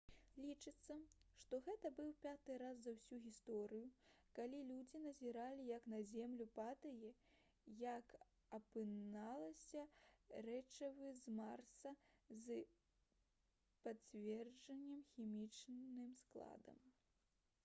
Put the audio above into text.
лічыцца што гэта быў пяты раз за ўсю гісторыю калі людзі назіралі як на зямлю падае як апынулася рэчыва з марса з падцверджаным хімічным складам